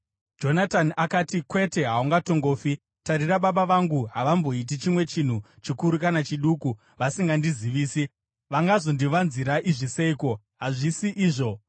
Jonatani akati, “Kwete! Haungatongofi! Tarira, baba vangu havamboiti chimwe chinhu, chikuru kana chiduku, vasingandizivisi. Vangazondivanzira izvi seiko? Hazvisi izvo!”